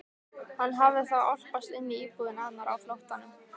Hann hafði þá álpast inn í íbúðina hennar á flóttanum!